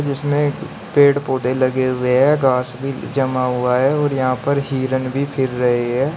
जिसमें एक पेड़ पौधे लगे हुए हैं घास भी जमा हुआ है और यहां पे हिरन भी फिर रहे हैं।